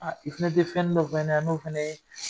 Aa i fɛnɛ te fɛnnin dɔ